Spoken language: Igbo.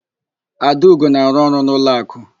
Adaugo na-arụ ọrụ n'ụlọakụ.